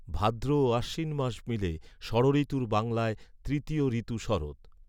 ভাদ্র ও আশ্বিন মাস মিলে ষড়ঋতুর বাংলায় তৃতীয় ঋতু শরৎ